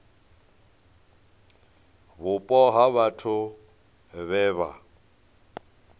vhupo ha vhathu vhe vha